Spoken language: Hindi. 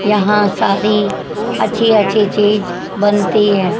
यहां सारी अच्छी अच्छी बनती हैं।